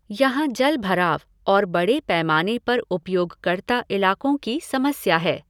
यहाँ जलभराव और बड़े पैमाने पर उपयोगकर्ता इलाक़ों की समस्या है।